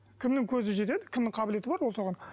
кімнің көзі жетеді кімнің қабілеті бар